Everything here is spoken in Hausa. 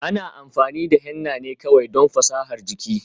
Ana amfani da henna ne kawai don fasahar jiki.